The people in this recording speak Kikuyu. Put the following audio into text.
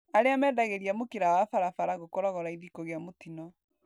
Arĩa mendagĩria mũkĩra wa barabara gũkoragwo raithi kũgĩa mũtino.